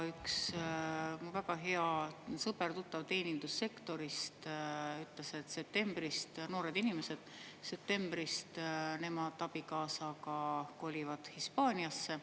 Üks mu väga hea sõber, tuttav teenindussektorist ütles, et septembrist nemad, noored inimesed, tema koos abikaasaga kolivad Hispaaniasse.